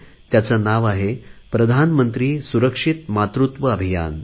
त्याचे नाव आहे प्रधानमंत्री सुरक्षित मातृत्व अभियान